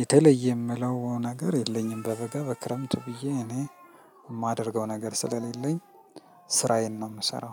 የተለየ የምለው ነገር የለኝም በበጋ በክረምቱ ብዬ እኔ የማደርገው ነገር ስለሌለኝ ስራዬን ነው የምሰራው